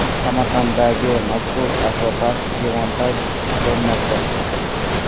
Samarqanddagi mashhur akvapark demontaj qilinmoqda.